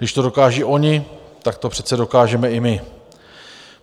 Když to dokážou oni, tak to přece dokážeme i my.